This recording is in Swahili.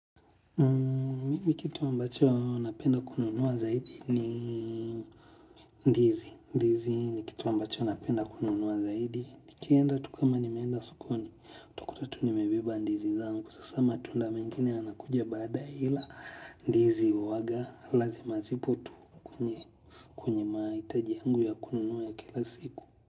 Mimi kitu ambacho napenda kununuwa zaidi ni ndizi, ndizi ni kitu ambacho napenda kununuwa zaidi. Nikienda tukama ni meenda sokoni, takutatu ni mebeba ndizi zangu. Sasa matunda mingine anakuja baada ila ndizi uwaga, lazima zipo tu kwenye maa itaji yangu ya kununuwa ya kila siku.